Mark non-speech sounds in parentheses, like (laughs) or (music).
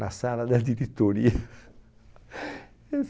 Na sala da diretoria. (laughs) essa